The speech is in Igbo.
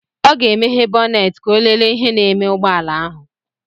Ọ ga-emeghe bọnet ka ọ lele ihe na-eme ụgbọala ahụ.